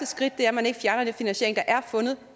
skridt er at man ikke fjerner den finansiering der er fundet